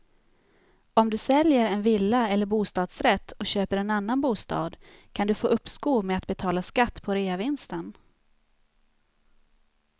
Om du säljer en villa eller bostadsrätt och köper en annan bostad kan du få uppskov med att betala skatt på reavinsten.